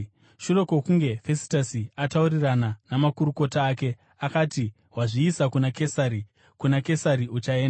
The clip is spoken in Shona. Shure kwokunge Fesitasi ataurirana namakurukota ake, akati, “Wazviisa kuna Kesari. Kuna Kesari uchaenda!”